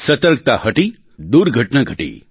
સતર્કતા હટી દુર્ઘટના ઘટી